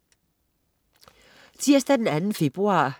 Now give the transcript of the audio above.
Tirsdag den 2. februar